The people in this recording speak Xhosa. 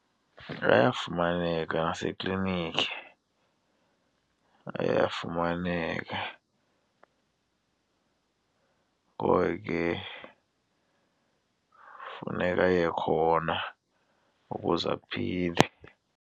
Ayafumaneka naseklinikhi. Ayafumaneka, ngoko ke funeka aye khona ukuze aphile.